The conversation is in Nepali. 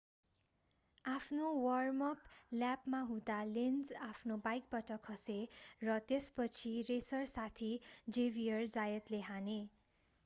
आफ्नो वार्म-अप ल्यापमा हुँदा लेन्ज आफ्नो बाइकबाट खसे र त्यसपछि रेसर साथी जेभियर जायतले हाने